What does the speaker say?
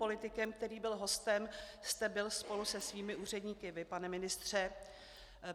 Politikem, který byl hostem, jste byl spolu se svými úředníky vy, pane ministře.